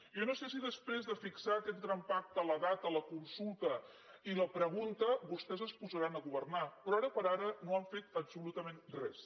jo no sé si després de fixar aquest gran pacte la data la consulta i la pregunta vostès es posaran a governar però ara per ara no han fet absolutament res